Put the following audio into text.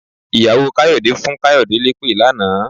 Ìyàwó Káyọ̀dé fún Káyọ̀dé lépè lánàá.